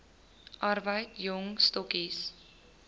arbeid jong stokkies